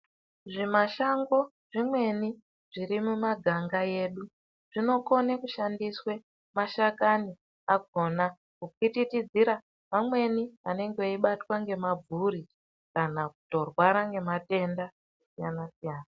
Zvimashango zvimweni zvirimumaganga edu zvinokone kushandiswe mashakani akona kupwipwitidzira vamweni vanenge veibatwa ngemabvuri kana kutorwara ngematenda akasiyana-siyana.